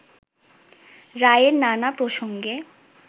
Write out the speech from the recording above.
রায়ের নানা প্রসঙ্গে